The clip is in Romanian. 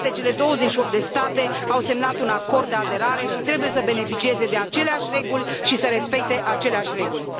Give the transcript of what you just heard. Toate cele 28 de state au semnat un acord de aderare și trebuie să beneficieze de aceleași reguli și să respecte aceleași reguli.